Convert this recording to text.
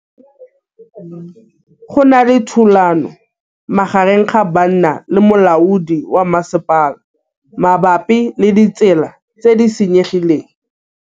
Go na le thulanô magareng ga banna le molaodi wa masepala mabapi le ditsela tse di senyegileng.